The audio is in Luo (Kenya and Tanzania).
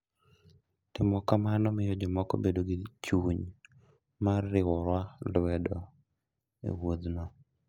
Timo kamano miyo jomoko bedo gi chuny mar riwowa lwedo e wuodhno.